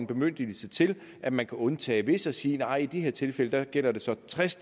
bemyndigelse til at man kan undtage visse og sige nej i de her tilfælde gælder det så en tres